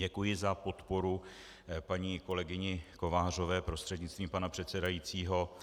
Děkuji za podporu paní kolegyni Kovářové prostřednictvím pana předsedajícího